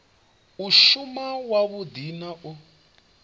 u shuma wavhudi na u